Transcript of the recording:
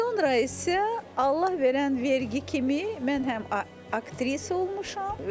Sonra isə Allah verən vergi kimi mən həm aktrisa olmuşam.